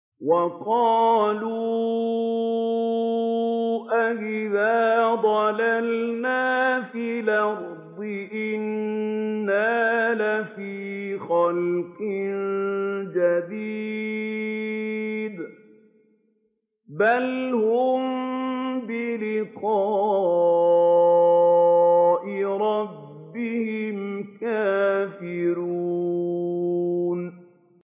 وَقَالُوا أَإِذَا ضَلَلْنَا فِي الْأَرْضِ أَإِنَّا لَفِي خَلْقٍ جَدِيدٍ ۚ بَلْ هُم بِلِقَاءِ رَبِّهِمْ كَافِرُونَ